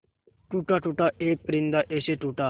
टूटा टूटा एक परिंदा ऐसे टूटा